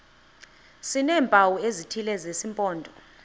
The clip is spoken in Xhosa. sineempawu ezithile zesimpondo